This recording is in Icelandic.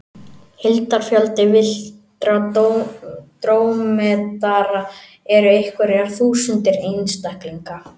Heildarfjöldi villtra drómedara eru einhverjar þúsundir einstaklinga.